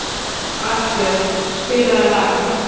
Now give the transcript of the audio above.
Arnbjörn, spilaðu lag.